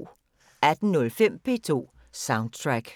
18:05: P2 Soundtrack